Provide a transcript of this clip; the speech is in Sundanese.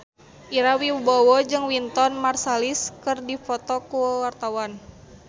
Ira Wibowo jeung Wynton Marsalis keur dipoto ku wartawan